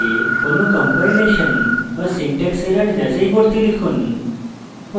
কোনো কম্পাইলেশন বা syntax error যাচাই করতে লিখুন